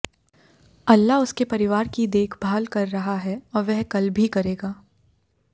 अल्लाह उसके परिवार की देखभाल कर रहा है और वह कल भी करेगा